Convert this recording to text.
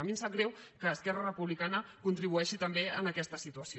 a mi em sap greu que esquerra republicana contribueixi també a aquesta situació